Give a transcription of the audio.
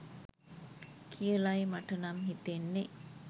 කියලයි මටනම් හිතෙන්නෙ.